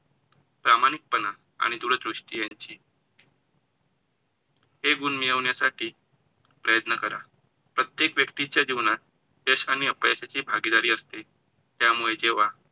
प्रामाणिकपणा आणि दूरदृष्टी यांची हे गुण मिळवण्यासाठी प्रयत्न करा. प्रत्येक व्यक्ती च्या जीवनात यश आणि अपयशाची भागीदारी असते, त्यामुळे जेव्हा